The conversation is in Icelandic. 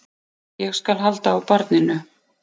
Ég skal halda á barninu.